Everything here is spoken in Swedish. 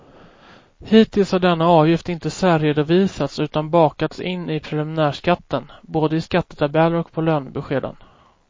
Hittills har denna avgift inte särredovisats utan bakats in i preliminärskatten, både i skattetabeller och på lönebeskeden.